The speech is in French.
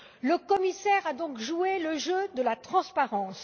Le commissaire a donc joué le jeu de la transparence.